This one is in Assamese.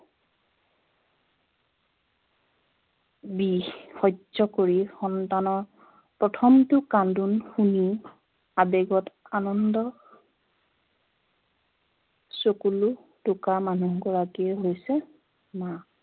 বিষ সহ্য় কৰি সন্তানৰ প্ৰথমটো কান্দোন সুনি আৱেগত আনন্দ চকুলু টোকা মানুহগৰাকীয়ে হৈছে মা